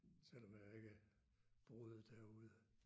Selvom jeg ikke boede derude